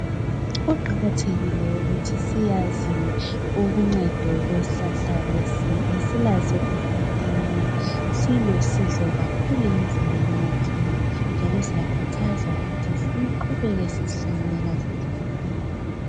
Kuqakathekile ukuthi sikwazi uncedo lwesihlahla lesi esilazo esigabeni silusizo kakhulu emizimbeni yethu njalo siyakhuthazwa ukuthi siqhubeke sizihlanyela sisiya phambili.